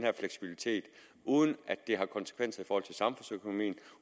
og fleksibilitet uden at det har konsekvenser for samfundsøkonomien og